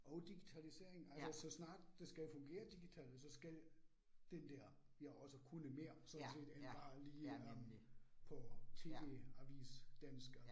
Og digitalisering altså så snart det skal fungere digitalt, så skal den der jo også kunne mere sådan set end bare lige at på TV-avis dansk og